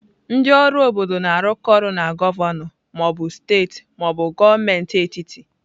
Ndị ọrụ obodo na-arụkọ ọrụ na gọvanọ ma ọ bụ steeti ma ọ bụ gọọmenti etiti.